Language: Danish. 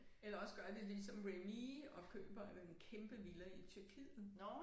Eller også gør de ligesom Remee og køber en kæmpe villa i Tyrkiet